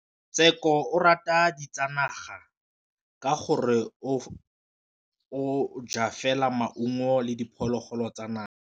Tshekô o rata ditsanaga ka gore o ja fela maungo le diphologolo tsa naga.